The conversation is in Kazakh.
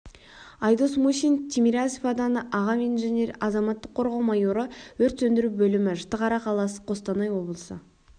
айдос мусин тимирязев ауданы аға инженері азаматтық қорғау майоры өрт сөндіру бөлімі жітіқара қаласы қостанай облысы